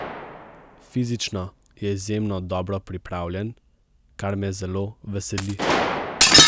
Fizično je izjemno dobro pripravljen, kar me zelo veseli.